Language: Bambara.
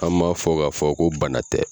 An m'a fɔ ka fɔ ko bana tɛ.